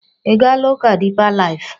Ị gaala ụka Deeper Life?